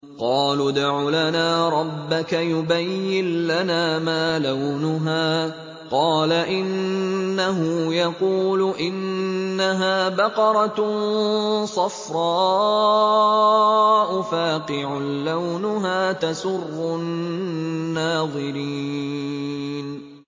قَالُوا ادْعُ لَنَا رَبَّكَ يُبَيِّن لَّنَا مَا لَوْنُهَا ۚ قَالَ إِنَّهُ يَقُولُ إِنَّهَا بَقَرَةٌ صَفْرَاءُ فَاقِعٌ لَّوْنُهَا تَسُرُّ النَّاظِرِينَ